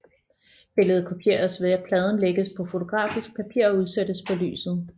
Billedet kopieres ved at pladen lægges på fotografisk papir og udsættes for lyset